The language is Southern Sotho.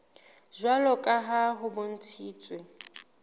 jwalo ka ha ho bontshitswe